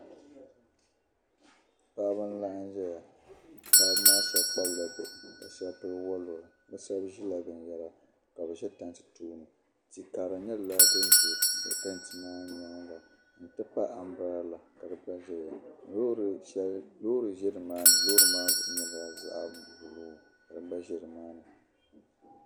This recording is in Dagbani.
Paɣibi n laɣim zɛya paɣib maa shabi kpabla bihi ka shab pili waluri bi shab zila bin yara ka bi zɛ tanti tooni ti karili nyɛla din zɛ tantimaa nyaaŋa n tipahi ambirela kadigba zɛya lɔɔri zɛni maani lɔɔri maa zuɣu nyɛla zaɣi blue, kadi gba zɛ ni maani.